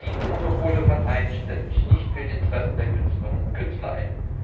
Wer diese Monopole verteidigt, setzt sich nicht für die Interessen der Künstlerinnen und Künstler ein.